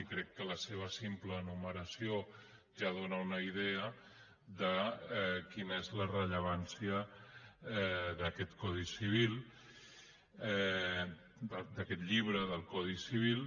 i crec que la seva simple enumeració ja dóna una idea de quina és la rellevància d’aquest llibre del codi civil